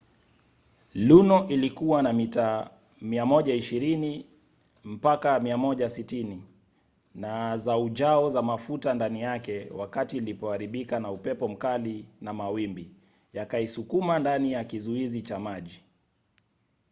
luno ilikuwa na mita 120-160 za ujao za mafuta ndani yake wakati ilipoharibika na upepo mkali na mawimbi yakaisukuma ndani ya kizuizi cha maji